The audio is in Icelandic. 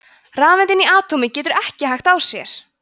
rafeind inni í atómi getur ekki hægt á sér!